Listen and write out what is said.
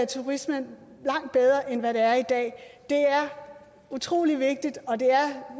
turismen langt bedre end den er i dag er utrolig vigtigt og det er